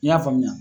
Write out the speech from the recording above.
I y'a faamuya